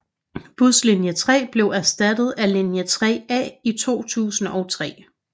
Buslinje 3 blev erstattet af linje 3A i 2003